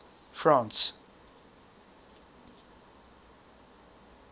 france